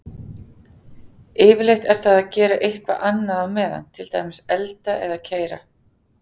Yfirleitt er það að gera eitthvað annað á meðan, til dæmis elda eða keyra.